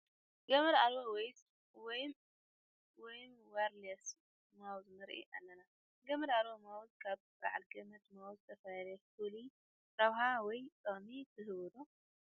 ገመድ ኣልቦ ወይም ዋየርለስ ማውስ ንርኢ ኣለና፡፡ ገመድ ኣልቦ ማውስ ካብ በዓል ገመድ ማውስ ዝተፈለየ ፍሉይ ረብሓ ወይ ጥቕሚ ትህብ ዶ?